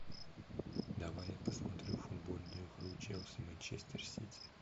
давай я посмотрю футбольную игру челси манчестер сити